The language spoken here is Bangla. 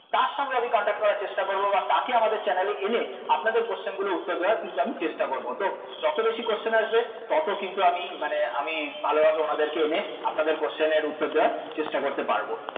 তার সঙ্গে আমি contact করার চেষ্টা করব বা তাকে আমাদের channel এ এনে আপনাদের question গুলোর উত্তর দেওয়ার কিন্তু আমি চেষ্টা করব তো যত বেশি question আসবে তত কিন্তু মানে আমি আমি ভালোভাবে ওনাদেরকে এনে আপনাদের question এর উত্তর দেওয়ার চেষ্টা করতে পারব